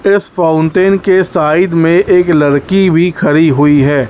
इस फाउंटेन के साइड में एक लड़की भी खड़ी हुई है।